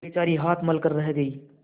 बेचारी हाथ मल कर रह गयी